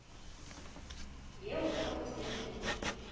eo ha ho se ho